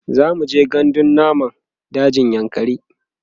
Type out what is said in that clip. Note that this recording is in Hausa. zamuje gandun namun dajin yankari